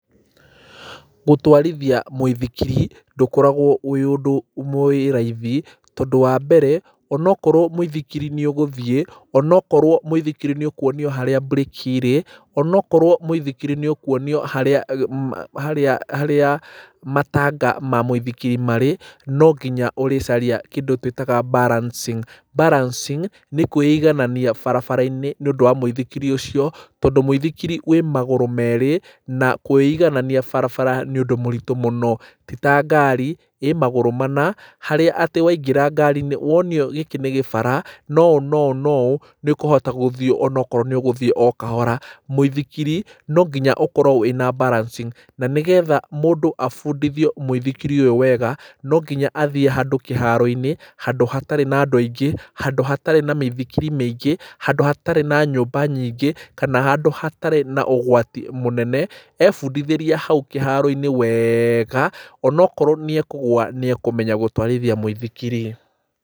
Gũtwarithia mũithikiri ndũkoragwo wĩ ũndũ wĩ raithi, tondũ wambere onakorwo mũithikiri nĩ ũgũthiĩ onokorwo mũithikiri nĩũkũonio harĩa mbũreki ĩrĩ, ona akorwo mũithikiri nĩũkuonio harĩa matanga ma mũithikiri marĩ, nonginya ũrĩcaria kĩndũ tũĩtaga balancing. Balancing nĩ kũiganania barabara-inĩ nĩũndũ wa mũithikiri ũcio, tondũ mũithikiri wĩ magũrũ merĩ na kũĩiganania barabara nĩ ũndũ mũritũ mũno, ti ta ngari ĩ magũrũ mana harĩa atĩ waingĩra ngari-inĩ wonio gĩkĩ nĩ gĩbara na ũũ na ũũ na ũũ, nĩũkũhota gũthiĩ onakorwo nĩ ũgũthiĩ o kahora. Mũithikiri no nginya ũhote gũkorwo wĩna balancing, na nĩgetha mũndũ abundithio mũithikiri ũyũ wega no nginya athiĩ handũ kĩharo-inĩ, handũ hatarĩ na andũ aingĩ, handũ hatarĩ na mĩithikiri mĩingĩ, handũ hatarĩ na nyũmba nyingĩ, kana handũ hatarĩ na ũgwati mũnene, ebundithĩria hau kĩharo-inĩ wega, onakorwo nĩ ekũgwa nĩ ekũmenya gũtwarithia mũithikiri.